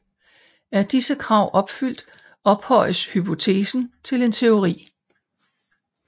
Er disse krav opfyldt ophøjes hypotesen til en teori